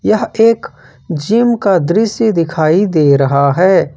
यह एक जिम का दृश्य दिखाई दे रहा है।